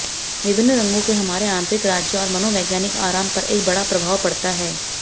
विभिन्न रंगों के हमारे आंतरिक राज्य और मनोवैज्ञानिक आराम पर एक बड़ा प्रभाव पड़ता है